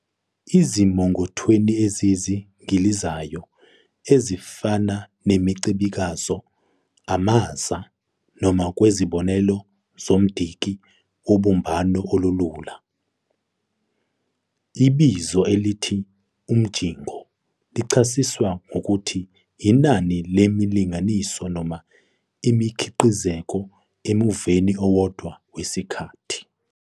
Ezimongothweni eziyingilizayo ezifana nemicikazo, amaza, noma ngokwezibonelo zomdiki wobumbano olulula, ibizo elithi "umjingo" lichasiswa ngokuthi inani lemiyingilizo noma imiqhikizeko emuveni owodwa wesikhathi.